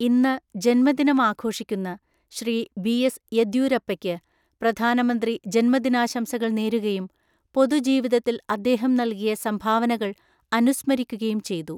ഇന്ന് ജന്മദിനം അഘോഷിക്കുന്ന ശ്രീ ബി എസ് യെദ്യൂരപ്പയ്ക്ക് പ്രധാനമന്ത്രി ജന്മദിനാശംസകള്‍ നേരുകയും പൊതുജീവിതത്തില്‍ അദ്ദേഹം നല്കിയ സംഭാവനകള്‍ അനുസ്മരിക്കുകയും ചെയ്തു.